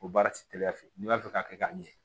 O baara ti teliya fɛ n'i b'a fɛ k'a ɲɛ